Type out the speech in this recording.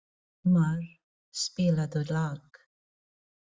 Ingmar, spilaðu lag.